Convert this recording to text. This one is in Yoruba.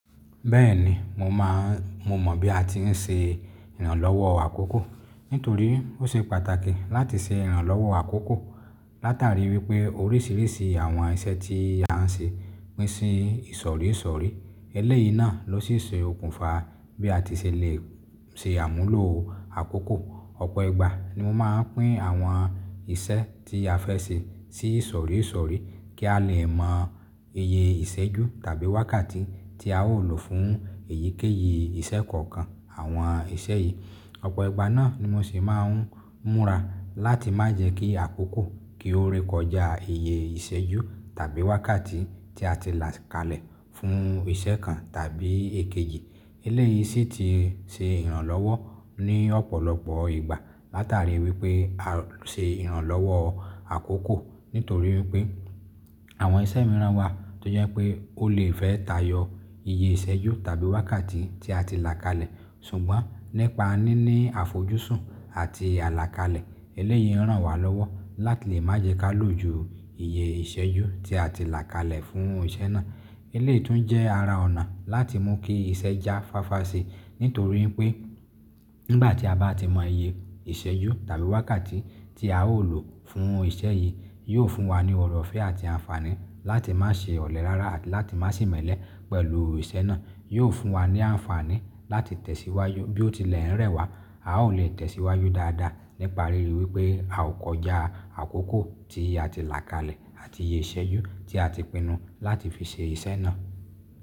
Bẹ́ẹ̀ni, mo mọ̀ bí a ti ń ṣe ìrànlọ́wọ́ àkókò. Nítorí ó ṣe pàtàkì láti ṣe ìrànlọ́wọ́ àkókò látàrí wípé oríṣìíríṣìí àwọn iṣẹ́ tí a ń ṣe pín sí ìsọ̀rí ìsọ̀rí. Eléyìí náà ló sì ṣe okùnfà bí a ti ṣe lè ṣe àmúlò àkókò. Ọ̀pọ̀ ìgbà ni mo máa pín àwọn iṣẹ́ tí a fẹ́ ṣe sí ìsọ̀rí ìsọ̀rí kí a lè mọ iye ìṣẹ́jú tàbí wákàtí tí a ó lò fún èyíkéyìí iṣẹ́ kọ̀ọ̀kan àwọn iṣẹ́ yìí. Ọ̀pọ̀ ìgbà náà ni mo sì máa ń múra láti má jẹ́ kí àkókò kí ó rékọjá iye ìṣẹ́jú tàbí wákàtí tí a ti là kalẹ̀ fún iṣẹ́ kan tàbí èkejì. Eléyìí sì ti ṣe ìrànlọ́wọ́ ní ọ̀pọ̀lọpọ̀ ìgbà látàrí wípé a ṣe ìrànlọ́wọ́ àkókò. Nítorí pé àwọn iṣẹ́ mìíràn wà tó jẹ́ pé ó lè fẹ́ tayọ iye ìṣẹ́jú tàbí wákàtí tí a ti là kalẹ̀. Ṣùgbọ́n, nípa níní àfojúsùn àti àlàkalẹ̀ eléyìí ràn wá lọ́wọ́ láti lè má jẹ́ ká lò ju iye ìṣẹ́jú tí a ti là kalẹ̀ fún iṣẹ́ náà. Eléyìí tún jẹ́ ara ọ̀nà láti mú kí iṣẹ́ já fáfá ṣe. Nítorí pé nígbà tí a bá ti mọ iye ìṣẹ́jú tàbí wákàtí tí a ó lò fún iṣẹ́ yìí, yóò fún wa ní ọ̀rọ̀fẹ́ àti àǹfààní láti má ṣe ọ̀lẹ rara àti láti má se imẹ́lẹ̀ pẹ̀lú iṣẹ́ náà. Yóò fún wa ní àǹfààní láti tẹ̀síwájú bí ó tilẹ̀ ń rẹ̀ wá. A ó lè tẹ̀síwájú dáadáa nípa ríi wípé a ò kọjá àkókò tí a ti là kalẹ̀ àti iye ìṣẹ́jú tí a ti pinnu láti fi ṣe iṣẹ́ náà.